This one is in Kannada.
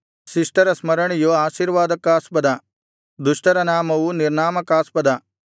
ಶಿಷ್ಟರ ಸ್ಮರಣೆಯು ಆಶೀರ್ವಾದಕ್ಕಾಸ್ಪದ ದುಷ್ಟರ ನಾಮವು ನಿರ್ನಾಮಕಾಸ್ಪದ